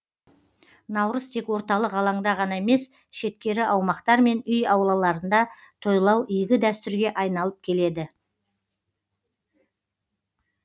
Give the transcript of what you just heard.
наурыз тек орталық алаңда ғана емес шеткері аумақтар мен үй аулаларында тойлау игі дәстүрге айналып келеді